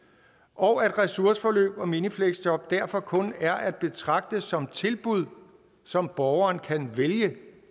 og at ressourceforløb og minifleksjob derfor kun er at betragte som tilbud som borgeren kan vælge